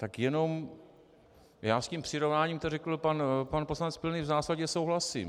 Tak jenom - já s tím přirovnáním, co řekl pan poslanec Pilný, v zásadě souhlasím.